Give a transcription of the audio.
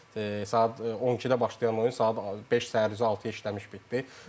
Yəni saat 12-də başlayan oyun saat beş səhər üzü altıya işləmiş bitdi.